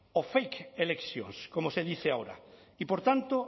o fake elections como se dice ahora y por tanto